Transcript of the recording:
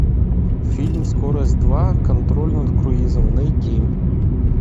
фильм скорость два контроль над круизом найти